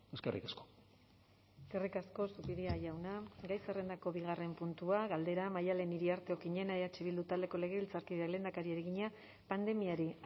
eskerrik asko eskerrik asko zupiria jauna gai zerrendako bigarren puntua galdera maddalen iriarte okiñena eh bildu taldeko legebiltzarkideak lehendakariari egina pandemiari